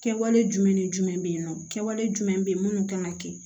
Kɛwale jumɛn ni jumɛn bɛ yen nɔ kɛwale jumɛn bɛ yen minnu kan ka kɛ